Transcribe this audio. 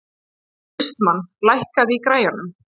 Austmar, lækkaðu í græjunum.